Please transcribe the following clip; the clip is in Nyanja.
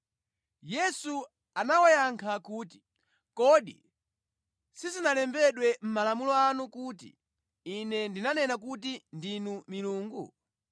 Yesu anawayankha kuti, “Kodi sizinalembedwa mʼmalamulo anu kuti, ‘Ine ndanena kuti ndinu milungu?’